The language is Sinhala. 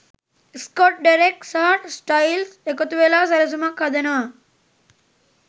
ස්කොට් ඩෙරෙක් සහ ස්ටයිල්ස් එකතුවෙලා සැලසුමක් හදනවා